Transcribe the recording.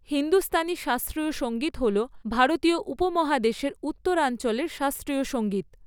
হিন্দুস্তানি শাস্ত্রীয় সঙ্গীত হল ভারতীয় উপমহাদেশের উত্তরাঞ্চলের শাস্ত্রীয় সঙ্গীত।